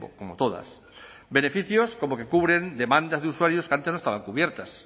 como todas beneficios como que cubren demandas de usuarios que antes no estaban cubiertas